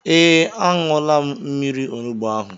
Ee, aṅula m mmiri onugbu ahụ